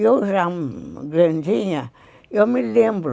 Eu já grandinha, eu me lembro.